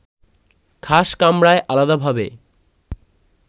খাস কামরায় আলাদাভাবে